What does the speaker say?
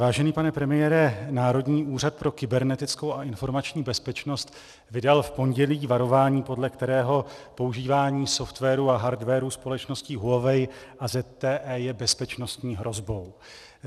Vážený pane premiére, Národní úřad pro kybernetickou a informační bezpečnost vydal v pondělí varování, podle kterého používání softwaru a hardwaru společnosti Huawei a ZTE je bezpečnostní hrozbou.